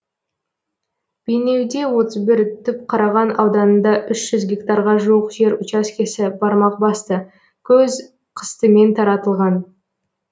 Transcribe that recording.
бейнеуде отыз бір түпқараған ауданында үш жүз гектарға жуық жер учаскесі бармақ басты көз қыстымен таратылған